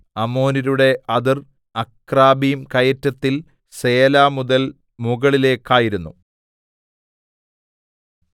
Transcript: അമോര്യരുടെ അതിർ അക്രബ്ബിം കയറ്റത്തിൽ സേല മുതൽ മുകളിലേക്കായിരുന്നു